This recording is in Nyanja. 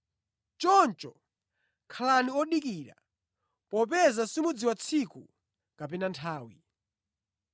“Choncho khalani odikira, popeza simudziwa tsiku kapena nthawi.”